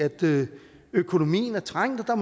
økonomien er trængt og